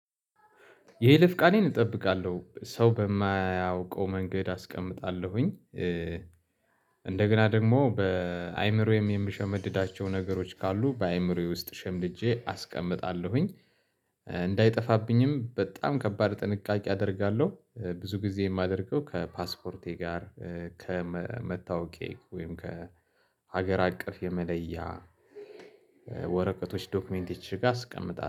የይለፍ ቃሌን እጠብቃለሁ ሰው በማያውቀው መንገድ አስቀምጣለሁኝ። እንደገና ደግሞ በአእምሮዬም የምሸመድዳቸው ነገሮች ካሉ በአእምሮዬ ውስጥ ሸምድጄ አስቀምጣለሁኝ። እንዳይጠፋብኝም በጣም ከባድ ጥንቃቄ አደርጋለሁ። ብዙ ጊዜ የማደርገው ከፓስፖርቴ ጋር ከመታወቄ ወይም ከሀገር አቀፍ የመለያ ወረቀቶች ዶክመንት እቺ ጋር አስቀምጣለሁ